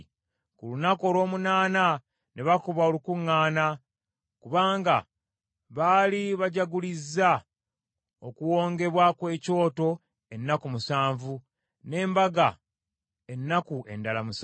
Ku lunaku olw’omunaana ne bakuba olukuŋŋaana, kubanga baali bajjagulizza okuwongebwa kw’ekyoto ennaku musanvu, n’embaga ennaku endala musanvu.